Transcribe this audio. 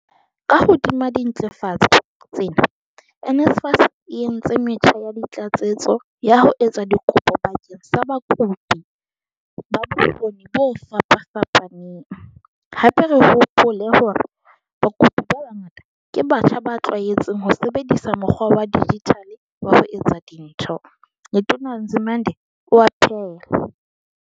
Ka hodima dintlafatso tsena, NSFAS e entse metjha ya tlatsetso ya ho etsa dikopo bakeng sa bakopi ba bokgo ni bo fapafapaneng, hape re hopole hore bakopi ba bangata ke batjha ba tlwaetseng ho sebedisa mokgwa wa dijithale wa ho etsa dintho," Letona Nzimande o a phaella.